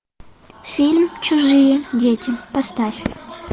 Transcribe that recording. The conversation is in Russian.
фильм чужие дети поставь